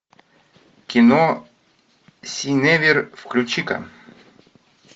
кино синевир включи ка